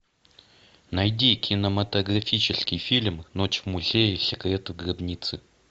найди кинематографический фильм ночь в музее секреты гробницы